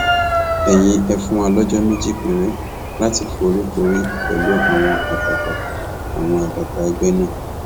ẹyin ẹ fún wa lọjọ méjì péré láti foríkorí pẹlú àwọn àgbààgbà àwọn àgbààgbà ẹgbẹ náà